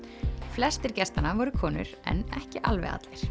flestir gestanna voru konur en ekki alveg allir